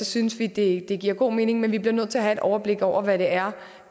synes vi det det giver god mening men vi bliver nødt til at have et overblik over hvad det er